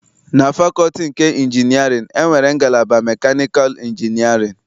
Na fakọlti nke injinịarịn, e nwere ngalaba mekanịkal injinịarịn.